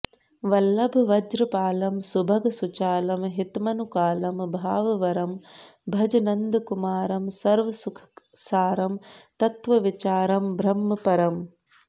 वल्लभव्रजपालं सुभगसुचालं हितमनुकालं भाववरं भज नन्दकुमारं सर्वसुखसारं तत्त्वविचारं ब्रह्मपरम्